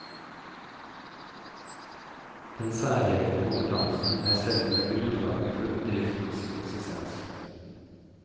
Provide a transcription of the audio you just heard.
Den særegne kompetansen er selve grunnlaget for bedriftens eksistens.